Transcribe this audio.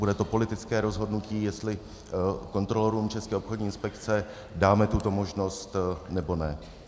Bude to politické rozhodnutí, jestli kontrolorům České obchodní inspekce dáme tuto možnost, nebo ne.